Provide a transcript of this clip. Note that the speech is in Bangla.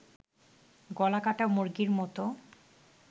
গলাকাটা মুরগির মতো